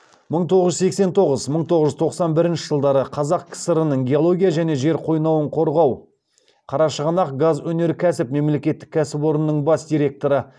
мың тоғыз жүз сексен тоғыз мың тоғыз жүз тоқсан бірінші жылдары қазақ кср ніңгеология және жер қойнауын қорғау қарашығанақгазөнеркәсіп мемлекеттік кәсіпорнының бас директоры